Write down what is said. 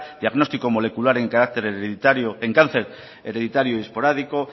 diagnóstico molecular en cáncer hereditario y esporádico